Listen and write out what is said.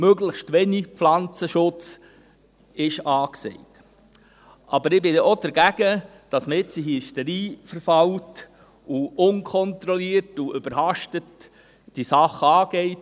Möglichst wenig Pflanzenschutz ist angesagt, aber ich bin auch dagegen, dass man jetzt in Hysterie verfällt und diese Sache unkontrolliert und überhastet angeht.